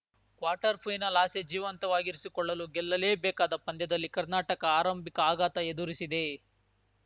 quarter final ಆಸೆ ಜೀವಂತವಾಗಿರಿಸಿಕೊಳ್ಳಲು ಗೆಲ್ಲಲೇಬೇಕಾದ ಪಂದ್ಯದಲ್ಲಿ ಕರ್ನಾಟಕ ಆರಂಭಿಕ ಆಘಾತ ಎದುರಿಸಿದೆ